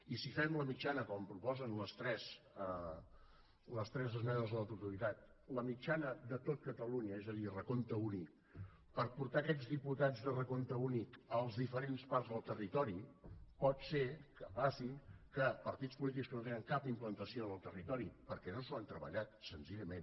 i si fem la mitjana com proposen les tres esmenes a la totalitat de tot catalunya és a dir recompte únic per portar aquests diputats de recompte únic a les diferents parts del territori pot ser que passi que partits polítics que no tenen cap implantació en el territori perquè no s’ho han treballat senzillament